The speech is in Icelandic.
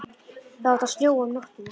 Það átti að snjóa um nóttina.